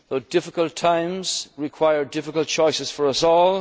that to our citizens. Difficult times require difficult